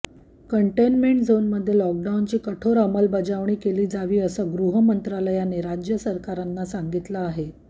containment झोनमध्ये लॉकडाउनची कठोर अमलबजावणी केली जावी असं गृहमंत्रालयाने राज्य सरकारांना सांगितलं आहे